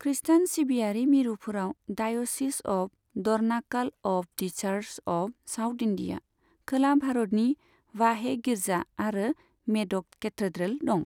खृस्टान सिबियारि मिरुफोराव Diocese of Dornakal of the Church of South India, खोला भारतनि बाहे गिर्जा आरो मेडक केथेड्रेल दं।